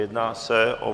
Jedná se o